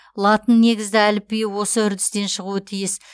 латыннегізді әліпби осы үрдістен шығуы тиіс